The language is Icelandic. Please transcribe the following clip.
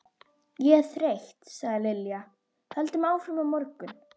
Ég er þreytt sagði Lilla, höldum áfram á morgun